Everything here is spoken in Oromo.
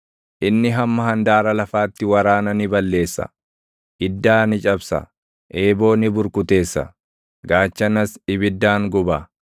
Inni hamma handaara lafaatti waraana ni balleessa; iddaa ni cabsa; eeboo ni burkuteessa; gaachanas ibiddaan guba.